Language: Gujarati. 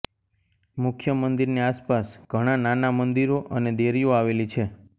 મુખ્ય મંદિરની આસપાસ ઘણા નાના મંદિરો અને દેરીઓ આવેલી છે